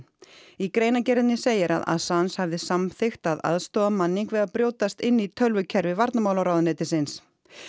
í greinargerðinni segir að að Assange hafi samþykkt að aðstoða Manning við að brjótast inn í tölvukerfi varnarmálaráðuneytisins